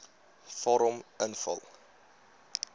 vorm invul